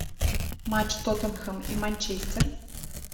матч тоттенхэм и манчестер